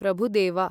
Prabhudeva